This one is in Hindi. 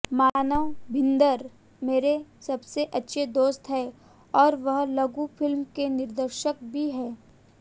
मानव भिन्दर मेरे सबसे अच्छे दोस्त हैं और वह लघु फिल्म के निर्देशक भी हैं